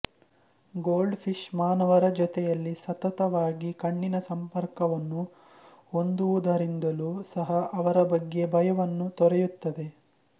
gold fish ಮಾನವರ ಜೊತೆಯಲ್ಲಿ ಸತತವಾಗಿ ಕಣ್ಣಿನ ಸಂಪರ್ಕವನ್ನು ಹೊಂದುವುದರಿಂದಲೂ ಸಹ ಅವರ ಬಗ್ಗೆ ಭಯವನ್ನೂ ತೊರೆಯುತ್ತದೆ